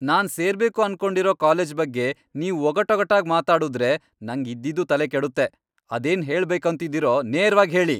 ನಾನ್ ಸೇರ್ಬೇಕು ಅನ್ಕೊಂಡಿರೋ ಕಾಲೇಜ್ ಬಗ್ಗೆ ನೀವ್ ಒಗಟೊಗಟಾಗ್ ಮಾತಾಡುದ್ರೆ ನಂಗ್ ಇದ್ದಿದ್ದೂ ತಲೆ ಕೆಡುತ್ತೆ. ಅದೇನ್ ಹೇಳ್ಬೇಕೂಂತಿದಿರೋ ನೇರ್ವಾಗ್ ಹೇಳಿ.